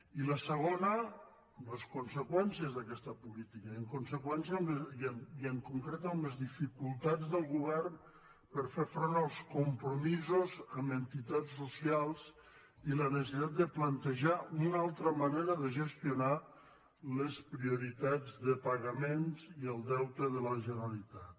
i la segona les conseqüències d’aquesta política i en conseqüència i en concret amb les dificultats del govern per fer front als compromisos amb entitats socials i la necessitat de plantejar una altra manera de gestionar les prioritats de pagaments i el deute de la generalitat